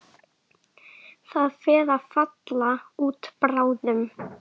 Það fer að falla út bráðum.